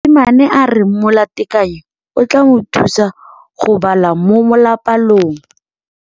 Mosimane a re molatekanyô o tla mo thusa go bala mo molapalong.